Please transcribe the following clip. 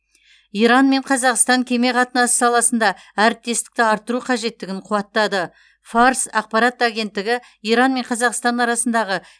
иран мен қазақстан кеме қатынасы саласында әріптестікті арттыру қажеттігін қуаттады фарс ақпарат агенттігі иран мен қазақстан арасындағы